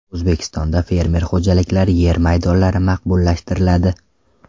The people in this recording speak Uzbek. O‘zbekistonda fermer xo‘jaliklari yer maydonlari maqbullashtiriladi.